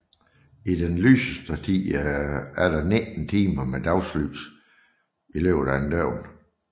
I den lyseste tid er der 19 timer med dagslys i løbet af et døgn